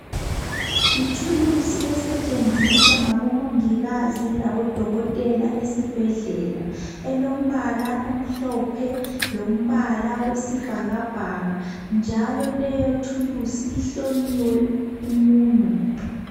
Yithulusi esetshenziswa ngodokotela lamongikazi ezibhedlela. Ilombala omhlophe, lobuhlaza, besibhakabgaka. Isetshenziswa, ihlonywe emunweni.